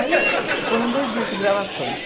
Aí foram dois dias de gravações.